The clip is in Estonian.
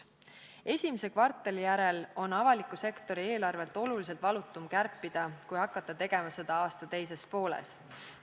Esimese kvartali järel on avaliku sektori eelarvet oluliselt valutum kärpida, kui hakata tegema seda aasta teises pooles.